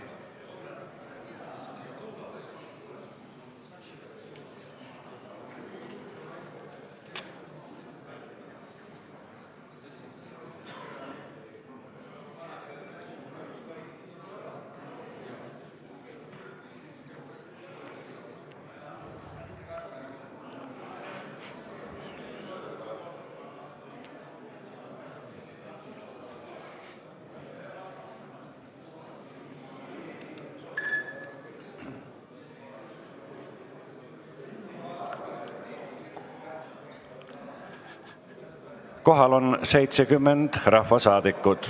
Kohaloleku kontroll Kohal on 70 rahvasaadikut.